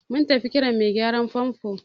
Mun tafi Kiran mai gyaran fanfo.